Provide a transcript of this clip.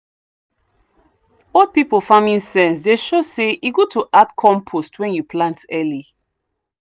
old people farming sense dey show say e good to add compost when you plant early.